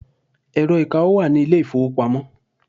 Ẹ̀rọ ìkawó wà ní ilé ìfowópamọ́.